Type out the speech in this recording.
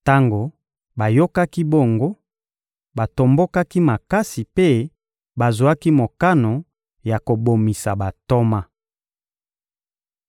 Tango bayokaki bongo, batombokaki makasi mpe bazwaki mokano ya kobomisa bantoma.